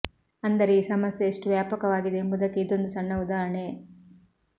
ಅಂದರೆ ಈ ಸಮಸ್ಯೆ ಎಷ್ಟು ವ್ಯಾಪಕವಾಗಿದೆ ಎಂಬುದಕ್ಕೆ ಇದೊಂದು ಸಣ್ಣ ಉದಾಹರಣೆ